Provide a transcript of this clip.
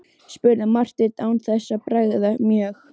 spurði Marteinn án þess að bregða mjög.